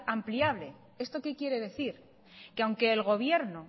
ampliable esto qué quiere decir que aunque el gobierno